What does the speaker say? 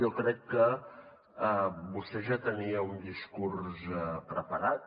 jo crec que vostè ja tenia un discurs preparat